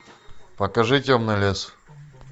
покажи темный лес